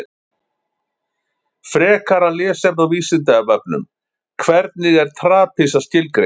Frekara lesefni á Vísindavefnum: Hvernig er trapisa skilgreind?